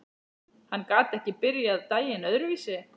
Hann gat ekki byrjað daginn öðruvísi.